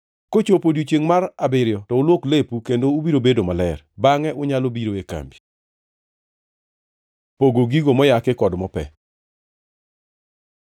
Kochopo odiechiengʼ mar abiriyo to ulwok lepu kendo ubiro bedo maler. Bangʼe unyalo biro e kambi.” Pogo gigo moyaki kod mope